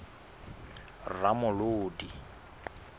ramolodi